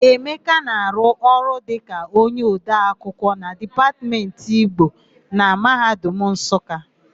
Emeka na-arụ ọrụ ka onyeodeakwụkwọ na Dipatmentị Igbo na Mahadum Nsụka.